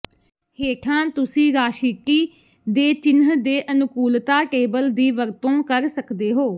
ਹੇਠਾਂ ਤੁਸੀਂ ਰਾਸ਼ਿਟੀ ਦੇ ਚਿੰਨ੍ਹ ਦੇ ਅਨੁਕੂਲਤਾ ਟੇਬਲ ਦੀ ਵਰਤੋਂ ਕਰ ਸਕਦੇ ਹੋ